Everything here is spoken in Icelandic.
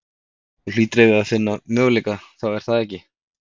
Þú hlýtur að eiga fína möguleika þá er það ekki?